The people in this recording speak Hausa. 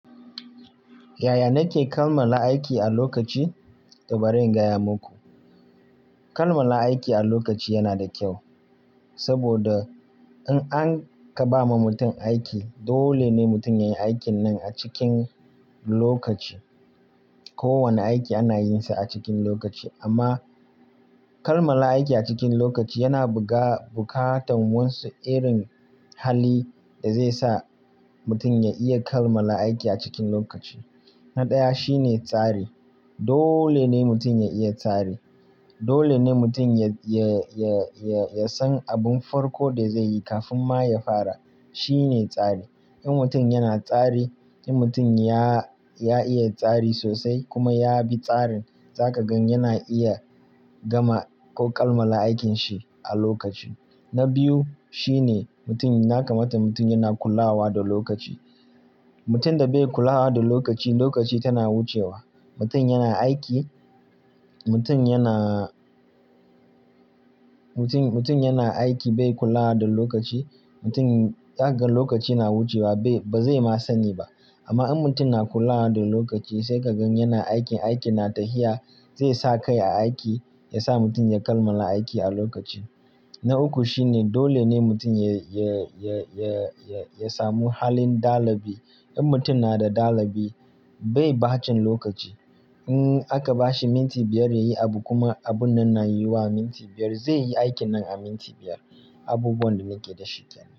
Yaya nake kammala aiki a lokaci? Bari in gaya muku. Kammala aiki a lokaci yana da kyau, saboda in aka ba mutum aiki dole ne mutum ya yi aikin nan a cikin lokaci. Ko wane aiki ana yin sa a cikin lokaci amma kammala aiki a cikin lokaci yana buƙatar wasu irin hali da zai sa mutum ya iya kammala aiki a cikin lokaci. Na ɗaya shine tsari. Dole ne mutum ya iya tsari. Dole ne mutum ya, ya, ya, ya san abun farko da zai yi kafin ma ya fara. Shi ne tsari. In mutum yana tsari, in mutum ya, ya iya tsari sosai kuma ya bi tsarin za ka gan yana iya gama ko kammala aikin shi a lokaci. Na biyu shine mutum, ya kamata mutum yana kulawa da lokaci. Mutum da bai kula da lokaci, lokaci tana wucewa. Mutum yana aiki, mutum yana, mutum, mutum yana aiki bai kula da lokaci, mutum za ka gan lokaci na wucewa bai, ba zai ma sani ba. Amma in mutum na kulawa da lokaci sai ka gan yana aiki, aiki na tahiya zai sa kai a aiki ya sa mutum ya kammala aiki a lokaci. Na uku shine dole ne mutum ya, ya, ya, ya, ya samu halin dalabi. In mutum na da dalabi bai bacin lokaci. In aka bashi minti biyar ya yi abu kuma abun nan na yiwuwa a minti biyar zai yi aikin nan a minti biyar. Abubuwan da nake da shi kenan.